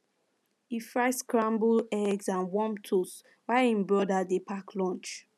e fry scramble eggs and warm toast while him brother dey pack lunch